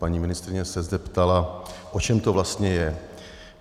Paní ministryně se zde ptala, o čem to vlastně je.